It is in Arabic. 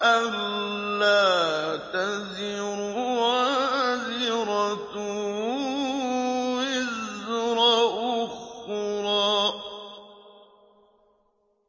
أَلَّا تَزِرُ وَازِرَةٌ وِزْرَ أُخْرَىٰ